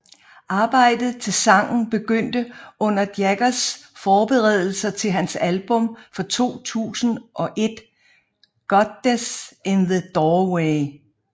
Arbejdet til sangen begyndte under Jaggers forberedelser til hans album fra 2001 Goddess in the Doorway